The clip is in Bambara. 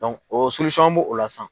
o an bo o la sisan.